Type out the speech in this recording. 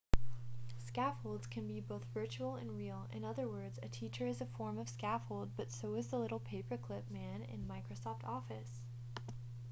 scaffolds can be both virtual and real in other words a teacher is a form of scaffold but so is the little paperclip man in microsoft office